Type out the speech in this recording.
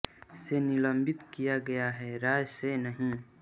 से निलंबित किया गया है रॉ से नहीं